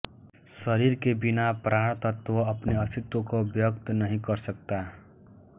शरीर के बिना प्राणतत्त्व अपने अस्तित्व को व्यक्त नहीं कर सकता